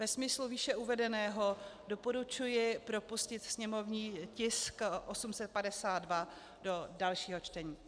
Ve smyslu výše uvedeného doporučuji propustit sněmovní tisk 852 do dalšího čtení.